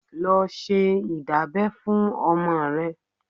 Lọ ṣe ìdábẹ́ fún ọmọ rẹ.